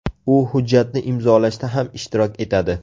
U hujjatni imzolashda ham ishtirok etadi.